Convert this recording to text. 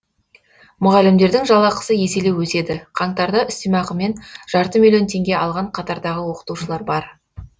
мұғалімдердің жалақысы еселеп өседі қаңтарда үстемақымен жарты миллион теңге алған қатардағы оқытушылар бар